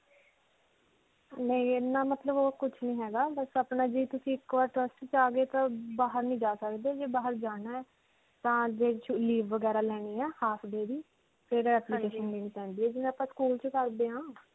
ਨਹੀਂ ਇੰਨਾ ਮਤਲਬ ਓਹ ਕੁਝ ਨਹੀਂ ਹੈਗਾ. ਬਸ ਅਪਣਾ ਜੀ ਤੁਸੀਂ ਇੱਕ ਬਾਰ class 'ਚ ਆ ਗਏ ਤਾਂ ਬਾਹਰ ਨਹੀਂ ਜਾ ਸਕਦੇ. ਜੇ ਬਾਹਰ ਜਾਣਾ ਹੈ? ਤਾਂ leave ਵਗੈਰਾ ਲੈਣੀ ਹੈ half day ਦੀ ਫਿਰ application ਦੇਣੀ ਪੈਂਦੀ ਹੈ, ਜਿਵੇਂ ਆਪਾਂ school 'ਚ ਕਰਦੇ ਹਾਂ.